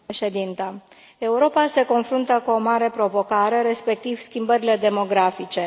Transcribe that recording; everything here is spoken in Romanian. Doamnă președintă, Europa se confruntă cu o mare provocare, respectiv schimbările demografice.